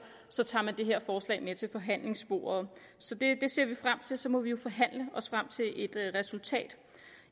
så tager man det her forslag med til forhandlingsbordet så det ser vi frem til og så må vi jo forhandle os frem til et resultat